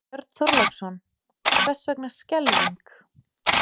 Björn Þorláksson: Hvers vegna skelfing?